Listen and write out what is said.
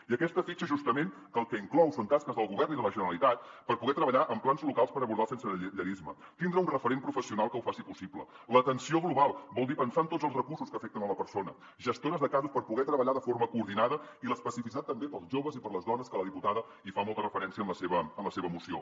i aquesta fitxa justament el que inclou són tasques del govern i de la generalitat per poder treballar amb plans locals per abordar el sensellarisme tindre un referent professional que ho faci possible l’atenció global vol dir pensar en tots els recursos que afecten la persona gestores de casos per poder treballar de forma coordinada i l’especificitat també per als joves i per a les dones que la diputada hi fa molta referència en la seva moció